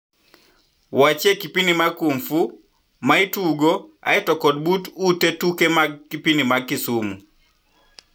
Wachie kipindi mag kung fu maitugo eiy to kod but ute tuke mag kipindi mag kisumu